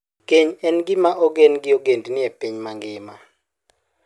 Keny en gima ogen gi ogendini e piny mangima.